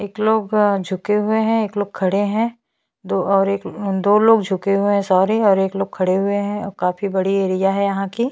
एक लोग झुके हुए है एक लोग खड़े है दो और एक दो लोग झुके हुए है सॉरी और एक लोक खड़े हुए है और काफी बड़ी एरिया है यहाँ की--